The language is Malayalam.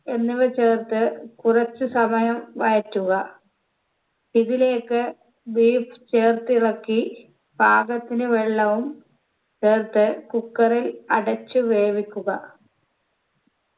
എന്നിവ ചേർത്ത് കുറച്ച് സമയം വഴറ്റുക ഇതിലേക്ക് beef ചേർത്തിളക്കി പാകത്തിന് വെള്ളവും ചേർത്ത് cooker ൽ അടച്ച് വേവിക്കുക